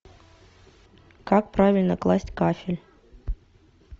как правильно класть кафель